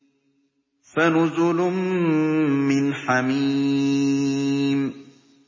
فَنُزُلٌ مِّنْ حَمِيمٍ